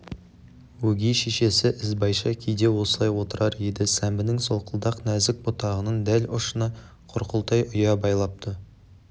өгей шешесі ізбайша кейде осылай отырар еді сәмбінің солқылдақ нәзік бұтағының дәл ұшына құрқылтай ұя байлапты